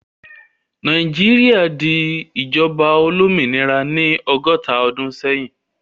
Nàìjíríà di ìjọba olómìnira ní ọgọ́ta ọdún sẹ́yìn.